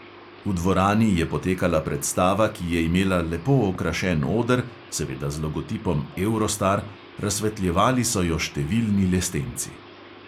V dvorani je potekala predstava, ki je imela lepo okrašen oder, seveda z logotipom eurostar, razsvetljevali so jo številni lestenci.